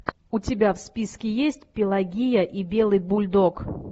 у тебя в списке есть пелагия и белый бульдог